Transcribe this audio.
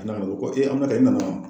o kɔ e b'a dɔn e nana